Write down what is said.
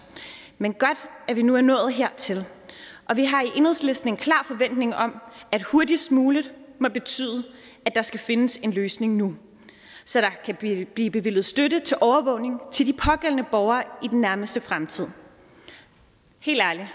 men godt at vi nu er nået hertil og vi har i enhedslisten en klar forventning om at hurtigst muligt må betyde at der skal findes en løsning nu så der kan blive blive bevilget støtte til overvågning til de pågældende borgere i den nærmeste fremtid helt ærligt